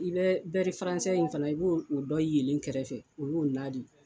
I bɛ in fana i b'o o dɔ yee len kɛrɛfɛ o y'o ladi